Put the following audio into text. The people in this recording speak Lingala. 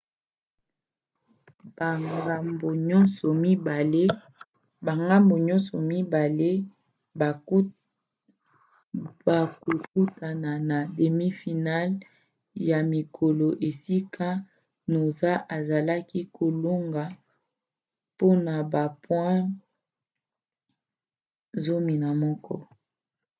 bangambo nyonso mibale bakokutana na demi final ya mikolo esika noosa azalaki kolonga mpona ba point 11